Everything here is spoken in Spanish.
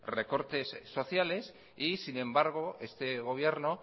recortes sociales y sin embargo este gobierno